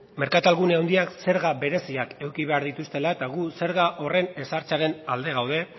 merkartalgune handiak zerga bereziak eduki behar dituztela eta gu zerga horren ezartzearen alde gaude